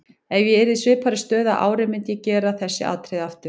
Ef ég yrði í svipaðri stöðu að ári myndi ég gera þessi atriði aftur.